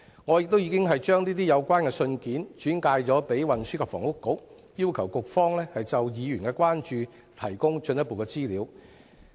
我已經把有關信件轉交運輸及房屋局，要求局方就議員的關注提供進一步的資料。